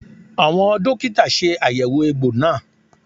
Àwọn dókítà ṣe àyẹ̀wò egbò náà